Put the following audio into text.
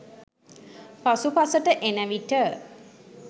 පසු පසුට එන විට